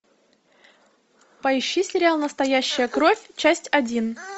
поищи сериал настоящая кровь часть один